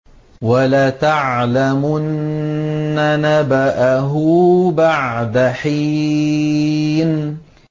وَلَتَعْلَمُنَّ نَبَأَهُ بَعْدَ حِينٍ